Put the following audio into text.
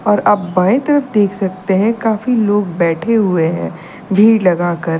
और आप बाई तरफ देख सकते हैं काफी लोग बैठे हुए हैं भीड़ लगाकर।